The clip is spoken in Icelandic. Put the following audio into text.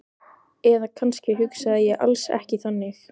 Eða kannski hugsaði ég alls ekki þannig.